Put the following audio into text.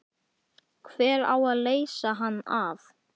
Hver á að leysa hann af?